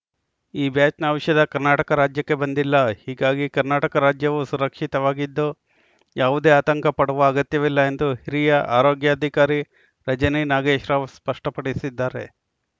ಈ ಬ್ಯಾಚ್‌ನ ಔಷಧ ಕರ್ನಾಟಕ ರಾಜ್ಯಕ್ಕೆ ಬಂದಿಲ್ಲ ಹೀಗಾಗಿ ಕರ್ನಾಟಕ ರಾಜ್ಯವು ಸುರಕ್ಷಿತವಾಗಿದ್ದು ಯಾವುದೇ ಆತಂಕ ಪಡುವ ಅಗತ್ಯವಿಲ್ಲ ಎಂದು ಹಿರಿಯ ಆರೋಗ್ಯಾಧಿಕಾರಿ ರಜನಿ ನಾಗೇಶ್‌ರಾವ್‌ ಸ್ಪಷ್ಟಪಡಿಸಿದ್ದಾರೆ